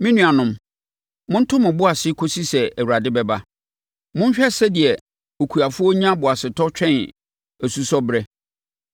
Me nuanom, monto mo bo ase kɔsi sɛ Awurade bɛba. Monhwɛ sɛdeɛ okuafoɔ nya boasetɔ twɛn asusɔberɛ.